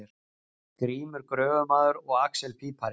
Grímur gröfumaður og axel pípari.